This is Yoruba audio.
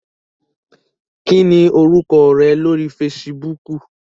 Kini oruko re lori Fèsìbúukù?